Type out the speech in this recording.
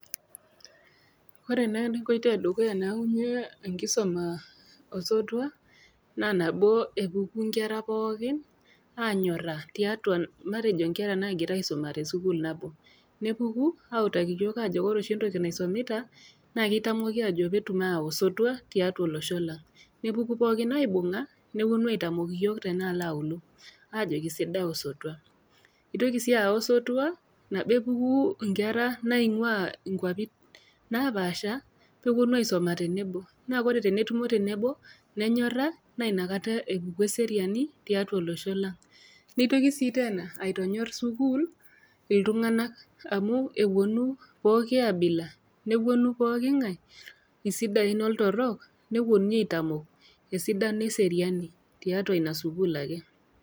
Ore naa enkoitoi e dukuya nayaunye enkisuma osotua naa nabo epuku inkera pookin anyora tiatua matejo inkera naagira aisuma te sukuul nabo, nepuku autaki iyiok aajo ore oshi entoki naisomita naa keitamoki aajo pee etum ayau osotua tiatua olosho lang'. Nepuku pooki aibung'a nepuonu aitamok iyiok tenaalo aulo, ajoki sidai osotua. Neitoki sii ayau osotua nabo epuku inkera naing'ua inkwapi napaasha, pee ewuonu aisuma tenebo, naa ore tenetumo tenebo, nenyora naa Ina kata epuku eseriani tiatua olosho lang'. Neitoki sii teena aitonyor iltung'ana amu ewuonu pooki aabila, nepuonu pookingai, isidain oltorok, nepuonuni aitamok esidano e seriani tiatua Ina sukuul ake.